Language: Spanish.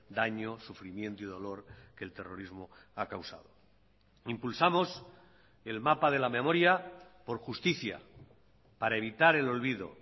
daño sufrimiento y dolor que el terrorismo ha causado impulsamos el mapa de la memoria por justicia para evitar el olvido